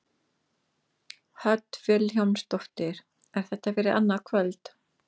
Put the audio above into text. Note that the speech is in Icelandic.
Hödd Vilhjálmsdóttir: Er þetta fyrir annað kvöld?